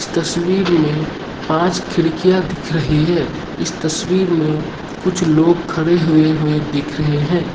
इस तस्वीर में पांच खिड़कियां दिख रही है इस तस्वीर में कुछ लोग खड़े हुए हुए दिख रहे हैं।